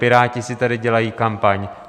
Piráti si tady dělají kampaň.